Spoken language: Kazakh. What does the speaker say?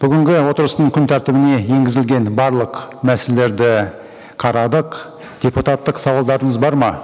бүгінгі отырыстың күн тәртібіне енгізілген барлық мәселелерді қарадық депутаттық сауалдарыңыз бар ма